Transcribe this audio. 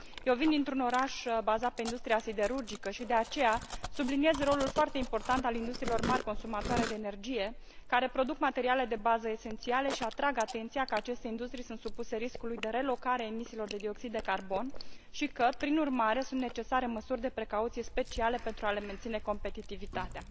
Eu vin dintr un oraș bazat pe industria siderurgică și, de aceea, subliniez rolul foarte important al industriilor mari consumatoare de energie, care produc materiale de bază esențiale și atrag atenția că aceste industrii sunt supuse riscului de relocare a emisiilor de dioxid carbon și că, prin urmare, sunt necesare măsuri de precauție speciale pentru a le menține competitivitatea.